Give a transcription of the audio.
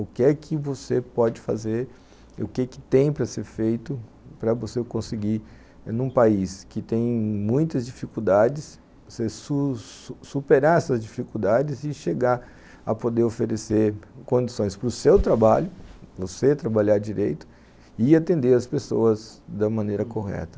O que é que você pode fazer, o que é que tem para ser feito para você conseguir, num país que tem muitas dificuldades, você su superar essas dificuldades e chegar a poder oferecer condições para o seu trabalho, você trabalhar direito e atender as pessoas da maneira correta.